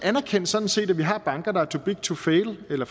sådan set anerkendte at vi har banker der er too big to fail eller